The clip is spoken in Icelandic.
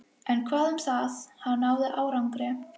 En hvað um það: hann náði árangri.